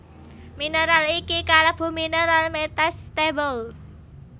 Mineral iki kalebu mineral metastable